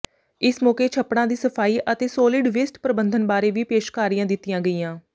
ਇਸ ਮੌਕੇ ਛੱਪੜਾਂ ਦੀ ਸਫਾਈ ਅਤੇ ਸੌਲਿਡ ਵੇਸਟ ਪ੍ਰਬੰਧਨ ਬਾਰੇ ਵੀ ਪੇਸ਼ਕਾਰੀਆਂ ਦਿੱਤੀਆਂ ਗਈਆਂ